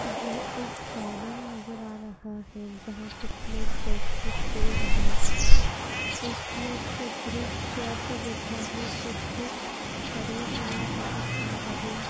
यह एक गार्डन नजर आ रहा है यहां कुछ लोग बैठ के खेल रहे हैं कुछ लोग का ग्रुप चेयर पे बैठा है कुछ खड़े हुए नजर आ रहे--